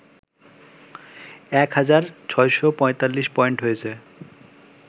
এক হাজার৬৪৫ পয়েন্ট হয়েছে